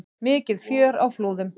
Mikið fjör á Flúðum